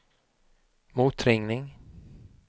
motringning